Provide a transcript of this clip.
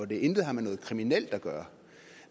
det intet har med noget kriminelt at gøre